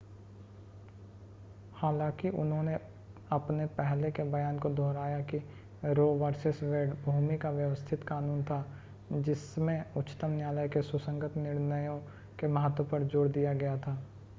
हालांकि उन्होंने अपने पहले के बयान को दोहराया कि रो वर्सस वेड भूमि का व्यवस्थित कानून था जिस में उच्चतम न्यायालय के सुसंगत निर्णयों के महत्व पर जोर दिया गया था